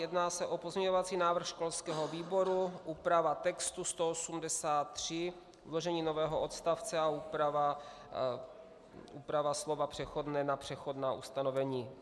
Jedná se o pozměňovací návrh školského výboru, úprava textu 183, vložení nového odstavce a úprava slova "přechodné" na "přechodná" ustanovení.